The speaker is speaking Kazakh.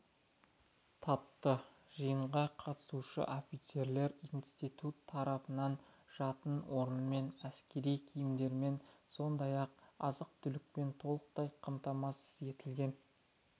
тапты жиынға қатысушы офицерлер институт тарапынан жатын орынмен әскери киімдермен сондай-ақ азық-түлікпен толықтай қамтамасыз етілген